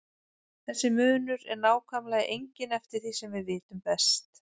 Þessi munur er nákvæmlega enginn eftir því sem við vitum best.